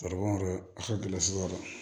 Garibu yɛrɛ a ka gɛlɛn yɔrɔ